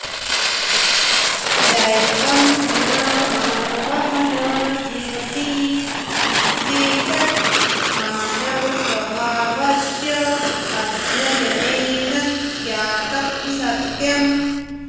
दैवं विना मानवः न जीवति इत्येतत् मानवस्वभावस्य अध्ययनेन ज्ञातं सत्यम्